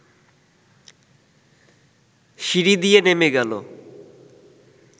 সিঁড়ি দিয়ে নেমে গেল